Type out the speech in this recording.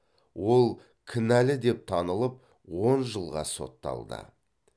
ол кінәлі деп танылып он жылға сотталды